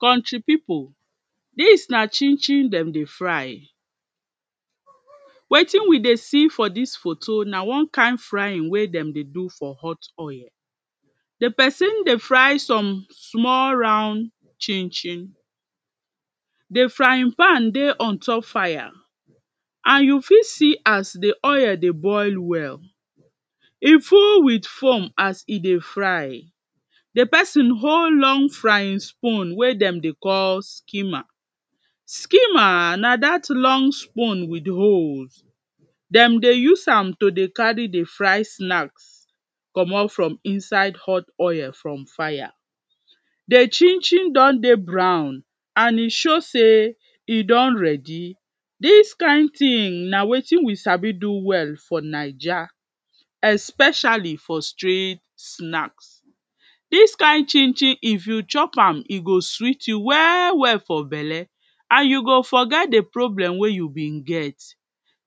Country people dis na chin-chin dem dey fry. Wetin we dey see for this photo na one kain frying wey dem dey do for hot oil. Di person dey fry some small round chin-chin. Di frying pan dey ontop fire and you fit see as di oil dey boil well. E full with foam as e dey fry. Di person hold long frying spoon wey dem dey call skimmer. Skimmer na that long spoon with holes. Dem dey use am to dey carry dey fry snacks, comot from inside hot oil from fire. Di chin-chin don dey brown and e show say e don ready. Dis kain thing na wetin we sabi do well for Naija, especially for street snacks. Dis kain chin-chin if you chop am, e go sweet you well well for belle and you go forget di problem wey you been get.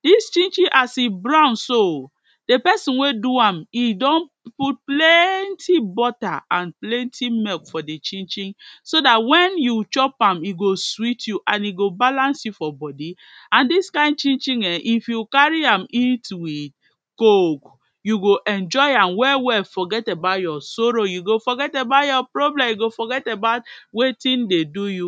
Dis chin-chin as e brown so, di person wey do am e don put plenty butter and plenty milk for di chin-chin so that when you chop am, e go sweet you and e go balance you for body. And dis kain chin-chin ehn, if you carry am eat with coke, you go enjoy am well well forget about your sorrow. You go forget about your problem, you go forget about wetin dey do you.